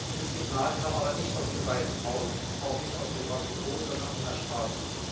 Dieses Signal kam aber nicht aus dem Weißen Haus, auch nicht aus dem Kapitol, sondern von der Straße.